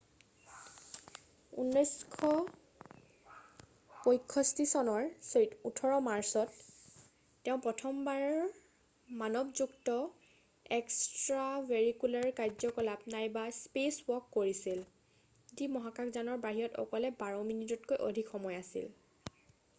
"1965 চনৰ 18 মাৰ্চত তেওঁ প্ৰথমবাৰ মানৱযুক্ত এক্সট্ৰাভেৰিকুলাৰ কাৰ্য্যকলাপ eva নাইবা "স্পেচৱাক" কৰিছিল যি মহাকাশ যানৰ বাহিৰত অকলে বাৰ মিনিটতকৈ অধিক সময় আছিল৷""